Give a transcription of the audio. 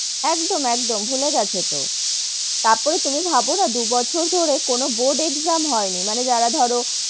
একদম, একদম, ভুলে গেছে তো, তারপরে তুমি ভাবো না দু বছর ধরে কোনো board exam হয় নি, মানে যারা ধরো,